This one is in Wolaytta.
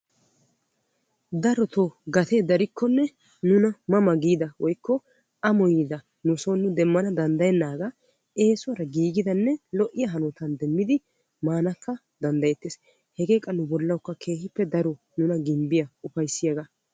Darotto gatee darikkonne nuna ma ma giidda woykko ammoyiddi katta shamiddi maanawu danddayetees hegeekka nuna ufayssiya woykko ginbbiyaaga.